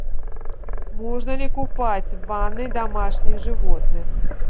можно ли купать в ванной домашних животных